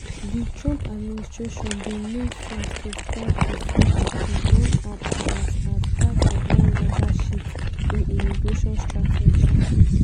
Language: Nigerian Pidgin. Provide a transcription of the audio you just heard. di trump administration bin move fast to scrap di cbp one app as as part of one larger shift in immigration strategy.